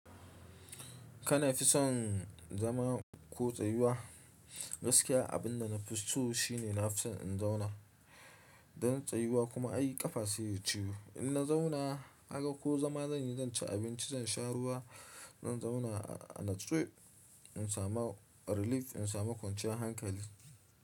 Kana fison zama ko tsayuwa? Gaskiya abin da na fi so shi ne na fi son in zauna. Dan tsayuwa kuma ai ƙafa sai ya yi ciwo. In na zauna haka ko zama zan yi, zan ci abinci, zan sha ruwa, zan zauna a nitsu in samu relief, in samu kwanciyar hankali.